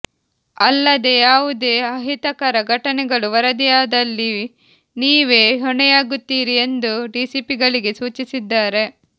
ಅಲ್ಲದೇ ಯಾವುದೇ ಅಹಿತಕರ ಘಟನೆಗಳು ವರದಿಯಾದಲ್ಲಿ ನೀವೇ ಹೊಣೆಯಾಗುತ್ತೀರಿ ಎಂದು ಡಿಸಿಪಿಗಳಿಗೆ ಸೂಚಿಸಿದ್ದಾರೆ